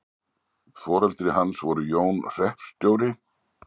Foreldri hans voru Jón hreppst.